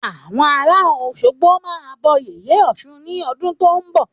Àwọn ará Òsogbo máa bọ yèyé ọ̀ṣun ní ọdún tí o nbọ